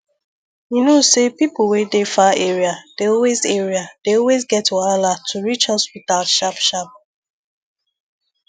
you know say people wey dey far area dey always area dey always get wahala to reach hospital sharp sharp